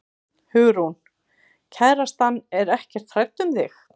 Hugrún: Kærastan er ekkert hrædd um þig?